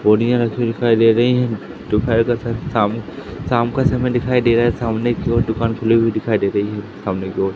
बोरिया रखी हुई दिखाई दे रही हैं दोपहर का स शाम शाम का समय दिखाई दे रहा है सामने की ओर दुकान खुली हुई दिखाई दे रही है सामने की ओर--